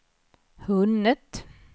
hunnit